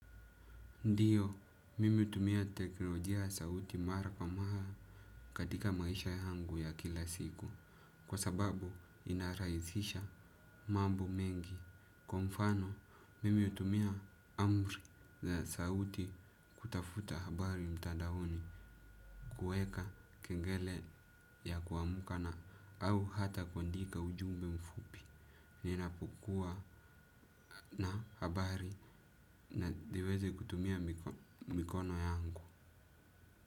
Ndiyo, mimi hutumia teknolojia sauti mara kwa mara katika maisha yangu ya kila siku. Kwa sababu, inarahisisha mambo mengi. Kwa mfano, mimi hutumia amri za sauti kutafuta habari mtadaoni, kuweka kengele ya kuamka na au hata kuandika ujumbe mfupi. Ninapokua na habari na niweze kutumia mikono yangu.